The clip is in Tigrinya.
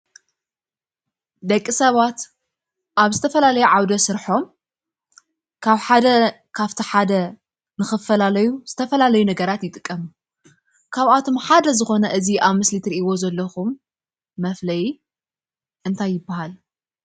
ደቂ ሰባት ኣብ ዝተፈላለዩ ዓውደ ስረሖም ካብ ሓደ ካብቲ ሓደ ንክፋላለዩ ዝተፈላለዩ ይጥቀሙ። ካባቶም ሓደ ዝኮነ እዚ ኣብ ምስሊ እትሪኢዎ ዘለኩም መፍለይ እንታይ ይባሃል?